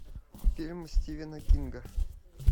фильм стивена кинга